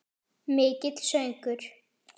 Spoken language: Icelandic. Mikill söngur.